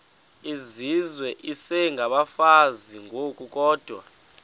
izizwe isengabafazi ngokukodwa